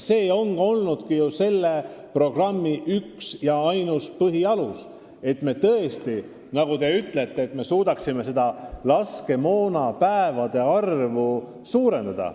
See ongi olnud selle programmi üks ja ainus põhialus, et me tõesti suudaksime, nagu te ütlete, laskemoonavaru päevade arvu suurendada.